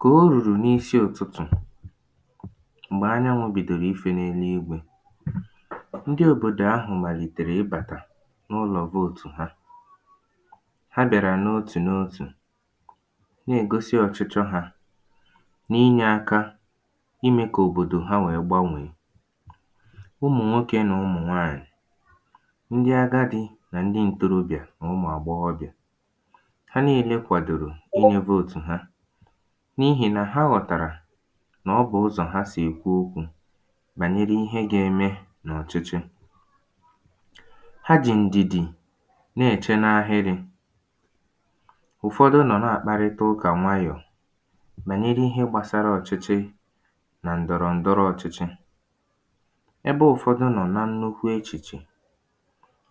kà o rùrù n’isi ụtụtụ̀ m̀gbè anyanwụ̄ bìdòrù ifē n’elu igwē ndị òbòdò ahụ̀ màlìtèrè ịbàtà n’ụlọ̀ vote ha ha bị̀àrà n’otù n’otù na-ègosi ọ̀chịchọ hā n’inyē aka imē kà òbòdò ha wèe gbanwèe ụmụ̀nwokē nà ụmụ̀nwaànyị̀ ndị agadī nà ndị ǹtorobị̀à nà ụmụ̀àgbọghọbị̀à ha niile kwàdòrò inyē vote ha n’ihì nà ha ghọ̀tàrà nà ọ bụ̀ ụzọ̀ ha sì èkwu okwū bànyere ihe ga-eme n’ọ̀chịchị ha jì ǹdìdì na-èche n’ahịrị̄ ụ̀fọdụ nọ̀ na-àkparịta ụkà nwayọ̀ bànyere ihe gbasara ọ̀chịchị nà ǹdọ̀rọ̀ǹdọrọ ọchịchị ebe ụfọdụ nọ̀ nà nnukwu echìchè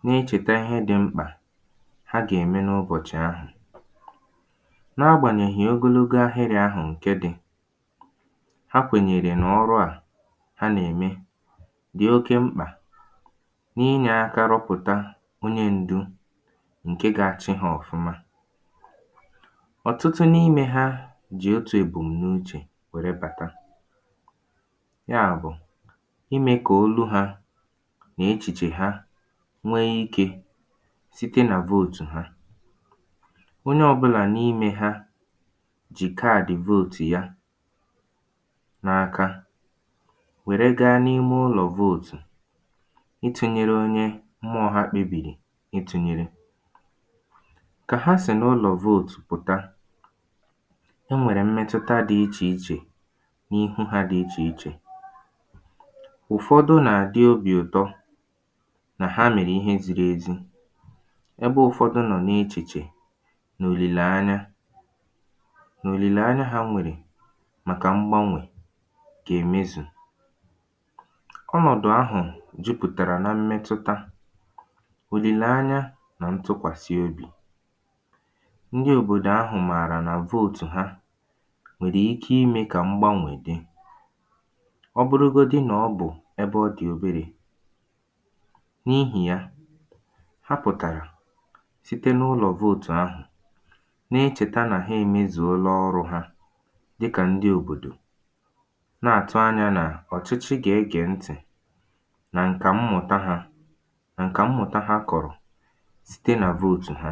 na-echèta ihe dị̄ mkpà ha gà-ème n’ụbọ̀chị̀ ahụ̀ n’agbanyèghị̀ ogologo ahịrị̄ ahụ̀ ǹke dị̄ ha kwènyèrè nà ọrụà ha nà-ème dị̀ oke mkpà n’inye aka rọpụ̀ta onye n̄dū ǹke ga-achị hā ọ̀fụma ọ̀tụtụ n’imē ha jì otū èbùm̀nuchè wèe bàta yaà bụ̀ imē kà olu hā nà echìchè ha nwee ikē site nà vote ha onye ọ̄bụ̄la n’imē ha jì card vote ya n’aka wère gaa n’ihu ụlọ̀ vote itūnyere onye mmụọ̄ ya kpebìrì itūnyere kà ya sì n’ụlọ̀ vote pụ̀ta e nwèrè mmetụta dị̄ ichè ichè n’ihu hā dị ichè ichè ụ̀fọdụ nà-àdị obì ụ̀tọ nà ha mèrè ihe zīrī ezi ebe ụfọdụ nọ̀ n’echìchè nà òlìlèanya nà òlìlèanya hā nwèrè màkà mgbanwè gà-èmezù ọnọ̀dụ̀ ahụ̀ jupụ̀tàrà nà mmetụta òlìlèanya nà ntụkwàsị obì ndị òbòdò ahụ̀ mààrà nà vote ha nwèrè ike imē kà mgbanwè dị ọ bụrụgodi nà ọ bụ̀ ebe ọ dị̀ oberē n’ihì ya ha pụ̀tàrà site n’ụlọ̀ vote ahụ̀ na-echèta nà ha èmezùola ọrụ̄ ha dịkà ndị òbòdò na-àtụ anyā nà ọ̀chịchị gà-egè ntị̀ nà ǹkà mmụ̀ta hā nà ǹkà mmụ̀ta ha kọ̀rọ̀ site nà vote ha